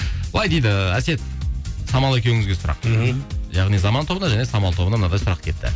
былай дейді әсет самал екеуіңізге сұрақ мхм яғни заман тобына және самал тобына мынадай сұрақ келіпті